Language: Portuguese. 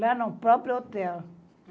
Lá no próprio hotel.